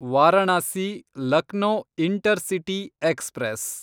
Varanasi Lucknow intercity express